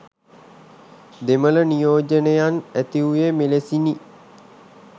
දෙමළ නියෝජනයන් ඇතිවූයේ මෙලෙසිනි